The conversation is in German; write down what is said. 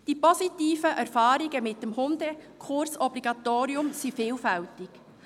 Die positiven Erfahrungen mit dem Hundekursobligatorium sind vielfältig: